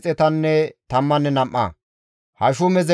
Anatoote katama asati 128,